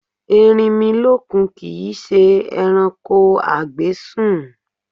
Erinmilọ́kun kìí ṣe ẹranko a gbé sùn.